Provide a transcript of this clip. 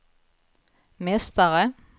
mästare